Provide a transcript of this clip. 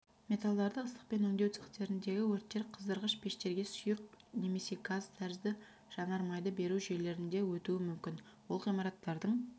металлдарды ыстықпен өңдеу цехтеріндегі өрттер қыздырғыш пештерге сұйық немесе газ тәрізді жанармайды беру жүйелерінде өтуі мүмкін ол ғимараттардың